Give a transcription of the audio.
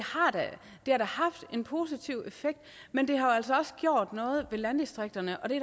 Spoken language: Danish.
har da haft en positiv effekt men det har altså også gjort noget ved landdistrikterne og det